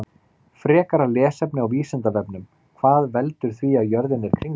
Frekara lesefni á Vísindavefnum: Hvað veldur því að jörðin er kringlótt?